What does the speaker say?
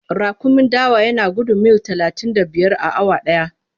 Raƙumin dawa yana gudun mil talatin da biyar a awa ɗaya.